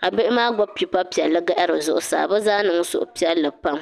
ka bihi maa gbubi pipa piɛlli n-gahiri zuɣusaa bɛ zaa niŋ suhupiɛlli pam